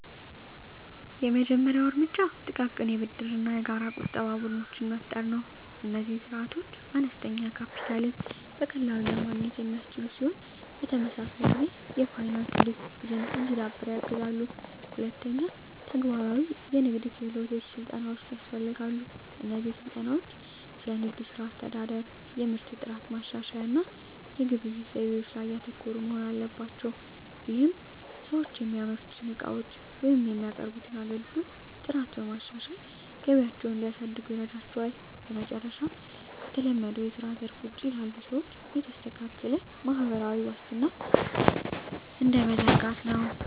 የመጀመሪያው እርምጃ ጥቃቅን የብድርና የጋራ ቁጠባ ቡድኖችን መፍጠር ነው። እነዚህ ስርዓቶች አነስተኛ ካፒታልን በቀላሉ ለማግኘት የሚያስችሉ ሲሆን፣ በተመሳሳይ ጊዜ የፋይናንስ ዲሲፕሊን እንዲዳብር ያግዛሉ። ሁለተኛ፣ ተግባራዊ የንግድ ክህሎት ስልጠናዎች ያስፈልጋሉ። እነዚህ ስልጠናዎች ስለ ንግድ ሥራ አስተዳደር፣ የምርት ጥራት ማሻሻያ እና የግብይት ዘይቤዎች ላይ ያተኮሩ መሆን አለባቸው። ይህም ሰዎች የሚያመርቱትን ዕቃዎች ወይም የሚያቀርቡትን አገልግሎት ጥራት በማሻሻል ገቢያቸውን እንዲያሳድጉ ይረዳቸዋል። በመጨረሻም፣ ከተለመደው የስራ ዘርፍ ውጪ ላሉ ሰዎች የተስተካከለ ማህበራዊ ዋስትና መረብ (እንደ ተለዋዋጭ የጤና መድህን እና የጡረታ ዕቅዶች) መዘርጋት ወሳኝ ነው።